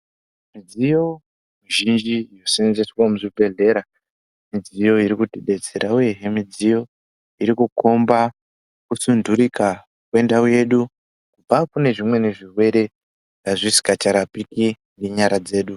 Midziyo mizhinji ino senzeswe mu zvibhedhleya midziyo iri kuti detsera uyehe midziyo iriku komba ku sundurika kwe ndau yedu kubva kune zvimwe zvirwere zvisikacha rapiki ne nyara dzedu.